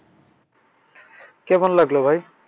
কেমন লাগল ভাই?